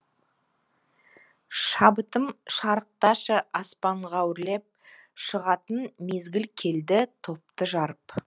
шабытым шарықташы аспанға өрлеп шығатын мезгіл келді топты жарып